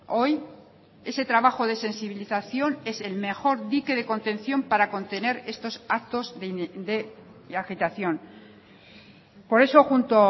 hoy ese trabajo de sensibilización es el mejor dique de contención para contener estos actos de agitación por eso junto